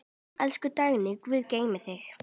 Elsku Dagný, Guð geymi þig.